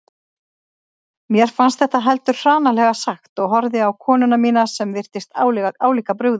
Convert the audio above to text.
Mér fannst þetta heldur hranalega sagt og horfði á konuna mína sem virtist álíka brugðið.